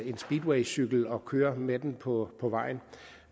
en speedwaycykel og kører med den på på vejen